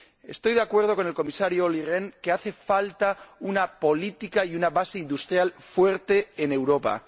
Estoy de acuerdo con el Comisario Olli Rehn en que hace falta una política y una base industrial fuerte en Europa.